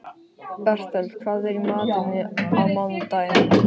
Bertel, hvað er í matinn á mánudaginn?